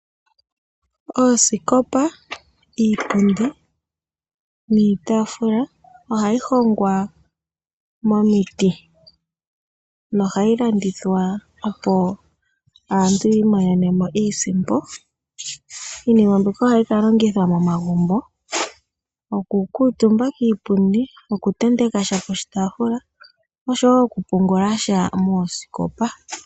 Oosikopa ,iipundi niitafula ohayi hongwa momiti ,nohayi landithwa opo aantu yi imonenemo iisimpo. Iinima mbika ohayi ka longithwa momagumbo oku kutuumba kiipundi ,oku tentekasha poshitaafula oshowo pungulasha moosikopa.